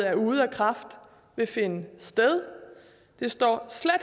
er ude af kraft vil finde sted det står